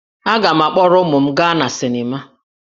Aga m akpọrọ ụmụ m gaa na sịnịma